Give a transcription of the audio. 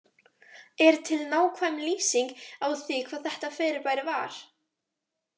Er til nákvæm lýsing á því hvað þetta fyrirbæri var?